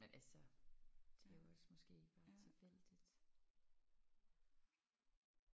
Men altså det er jo også måske bare tilfældigt